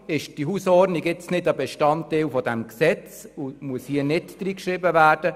Darum ist eine Hausordnung jetzt nicht Bestandteil des Gesetzes und muss deshalb nicht ins Gesetz hineingeschrieben werden.